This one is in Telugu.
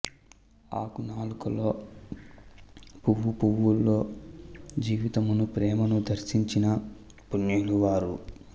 ఆకు నాకులో పూవు పూవులో జీవితమును ప్రేమను దర్సించిన పుణ్యులు వారు